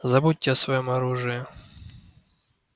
забудьте о своём оружии